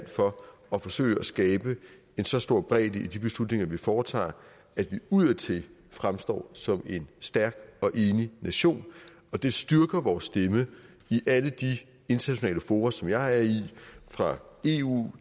for at forsøge at skabe en så stor bredde i de beslutninger vi foretager at vi udadtil fremstår som en stærk og enig nation det styrker vores stemme i alle de internationale fora som jeg er i fra eu